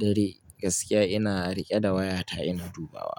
dare gaskiya ina riƙe da waya ta ina dubawa.